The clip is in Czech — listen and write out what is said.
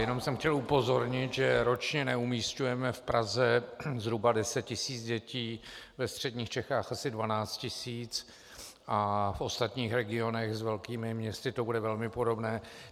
Jenom jsem chtěl upozornit, že ročně neumísťujeme v Praze zhruba 10 tisíc dětí, ve středních Čechách asi 12 tisíc a v ostatních regionech s velkými městy to bude velmi podobné.